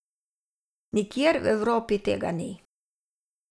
Nikjer v Evropi tega ni.